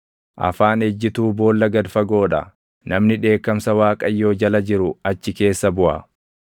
Afaan ejjituu boolla gad fagoo dha; namni dheekkamsa Waaqayyoo jala jiru achi keessa buʼa.